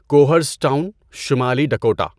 کوہرزٹاون، شمالی ڈکوٹا